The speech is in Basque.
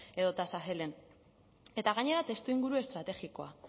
edota sahelen eta gainera testuinguru estrategikoa